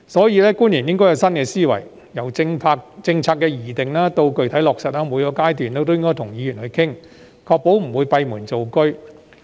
因此，官員應該有新思維，由政策的擬定到具體落實，每個階段都應跟議員商討，確保不會閉門造車。